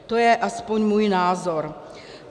To je aspoň můj názor.